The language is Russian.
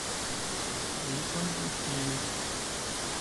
ессентуки